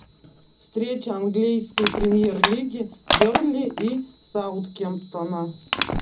встреча английской премьер лиги бернли и саутгемптона